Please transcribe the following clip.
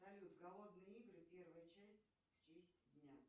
салют голодные игры первая часть в честь дня